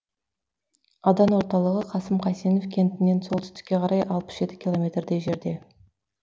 аудан орталығы қасым қайсенов кентінен солтүстікке қарай алпыс жеті километрдей жерде